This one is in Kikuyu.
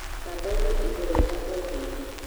Thabagia indo wega ó hĩndĩ